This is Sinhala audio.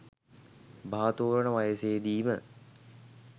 බහතෝරන වයසේදීම